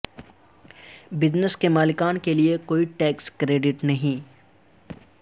business کے مالکان کے لئے کوئی ٹیکس کریڈٹ نہیں